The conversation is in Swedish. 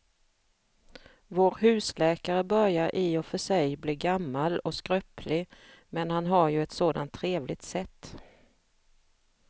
Vår husläkare börjar i och för sig bli gammal och skröplig, men han har ju ett sådant trevligt sätt!